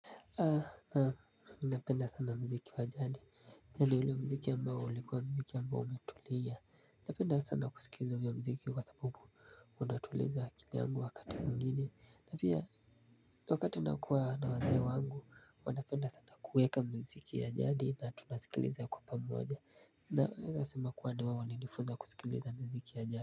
Nam ninapenda sana mziki wa jadi ya ni ule mziki ambao ulikuwa mziki ambao umetulia. Napenda sana kusikiliza ule mziki kwa sababu wanatuliza akili angu wakati mgine. Na pia wakati nakuwa na waze wangu wanapenda sana kuweka mziki ya jadi na tunasikiliza kwa pamoja. Naeza sema kuwa ni wao walinifunza kusikiliza miziki ya jadi.